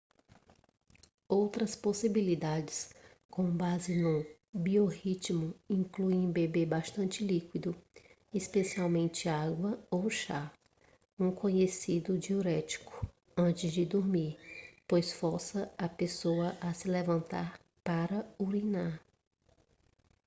outras possibilidades com base no biorritmo incluem beber bastante líquido especialmente água ou chá um conhecido diurético antes de dormir pois força a pessoa a se levantar para urinar